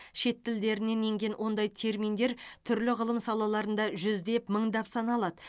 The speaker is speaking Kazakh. шет тілдерінен енген ондай терминдер түрлі ғылым салаларында жүздеп мыңдап саналады